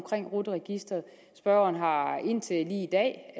rut registeret spørgeren har indtil lige i dag